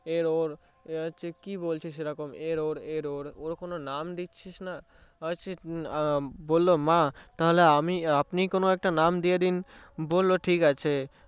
error কি বলছিস এরকম error error ওর কোনো নাম দিচ্ছিসনা বললো মা তাহলে আপনিই কোনো একটা নাম দিয়ে দিন বললো ঠিকাছে